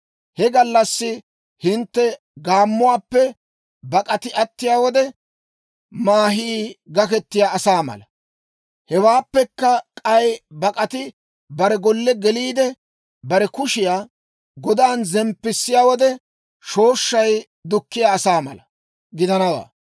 He gallassi hintte gaammuwaappe bak'ati attiyaa wode, maahii gaketiyaa asaa mala, hewaappekka k'ay bak'ati bare golle geliide, bare kushiyaa godan zemppissiyaa wode, shooshshay dukkiyaa asaa mala gidanawaa.